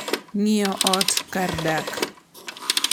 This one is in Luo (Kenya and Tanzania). Ng'iewo ot kar dak.